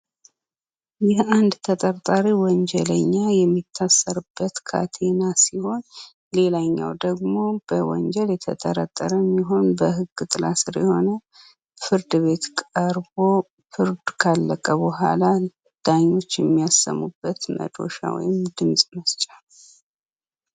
ይህ አንድ ተጠርጣሪ ወንጀለኛ የሚታሰርበት ካቴና ሲሆን ሌላኛው ደግሞ በወንጀል የተጠረጠረም ይሁን በህግ ጥላ ስር የሆነ፤ ፍርድቤት ቀርቦ ፍርድ ካለቀ በኋላ ዳኞች የሚያሰሙበት መዶሻ ወይም ድምፅ መስጫ ነው።